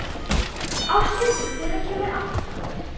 Áshildur, hvenær kemur áttan?